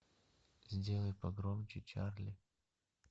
сделай погромче чарли